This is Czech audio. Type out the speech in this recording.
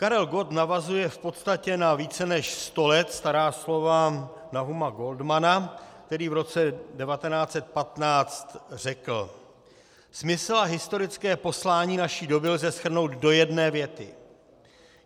Karel Gott navazuje v podstatě na více než sto let stará slova Nahuma Goldmanna, který v roce 1915 řekl: "Smysl a historické poslání naší doby lze shrnout do jedné věty.